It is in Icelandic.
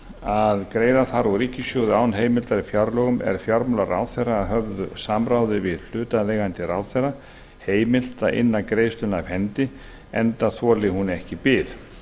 að greiða þarf úr ríkissjóði án heimildar í fjárlögum er fjármálaráðherra að höfðu samráði við hlutaðeigandi ráðherra heimilt að inna greiðsluna af hendi enda þoli hún ekki bið